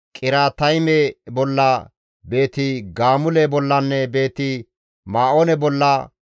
Qiriyaatayme bolla, Beeti-Gaamule bollanne Beeti-Ma7oone bolla,